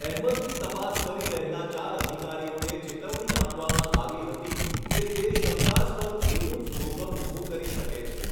અહમદની તપાસ કરી રહેલા ચાર અધિકારીઓને ચેતવણી આપવામાં આવી હતી કે તે શંકાસ્પદ એવું જ જોખમ ઊભું કરી શકે છે.